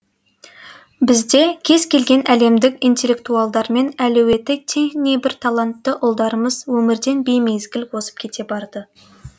бізде кез келген әлемдік интеллектуалдармен әлеуеті тең небір талантты ұлдарымыз өмірден беймезгіл озып кете барды